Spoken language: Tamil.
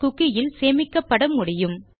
குக்கி இல் சேமிக்கப்பட முடியும்